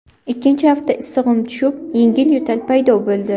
Ikkinchi hafta issig‘im tushib, yengil yo‘tal paydo bo‘ldi.